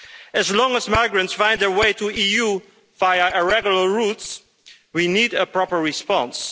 As long as migrants find their way to the EU via irregular routes, we need a proper response.